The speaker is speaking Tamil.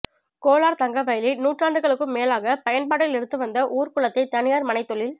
கோலார்தங்கவயலில் நூறாண்டுகளுக்கும் மேலாக பயன்பாட்டில் இருந்து வந்த ஊர் குளத்தை தனியார் மனைத் தொழில்